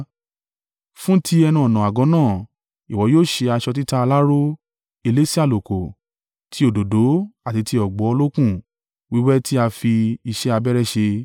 “Fún ti ẹnu-ọ̀nà àgọ́ náà, ìwọ yóò ṣe aṣọ títa aláró, elése àlùkò, ti òdòdó àti ti ọ̀gbọ̀ olókùn wíwẹ́ tí a fi iṣẹ́ abẹ́rẹ́ ṣe.